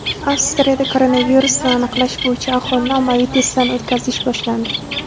Avstriyada koronavirusni aniqlash bo‘yicha aholini ommaviy testdan o‘tkazish boshlandi.